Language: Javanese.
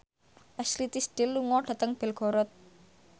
Ashley Tisdale lunga dhateng Belgorod